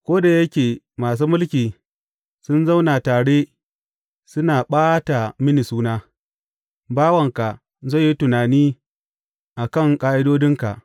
Ko da yake masu mulki sun zauna tare suna ɓata mini suna, bawanka zai yi tunani a kan ƙa’idodinka.